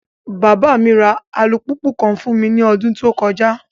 Baba mi ra alupupu kan fun mi ni ọdun to kọja